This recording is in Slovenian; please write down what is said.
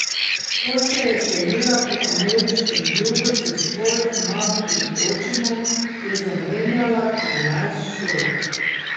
Ko se je selila po ameriškem jugu s svojo mamo in očimom je zamenjala trinajst šol.